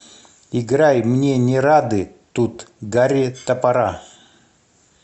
играй мне не рады тут гарри топора